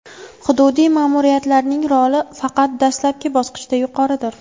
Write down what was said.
Hududiy ma’muriyatlarning roli faqat dastlabki bosqichda yuqoridir.